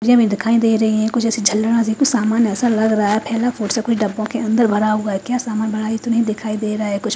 डिब्बे में दिखाई दे रही है कुछ ऐसे सामान ऐसा लग रहा है फैला फूहड़ का सामान डिब्बों के अंदर भरा हुआ है क्या सामान भरा है ये तो दिखाई नहीं दे रहा है कुछ --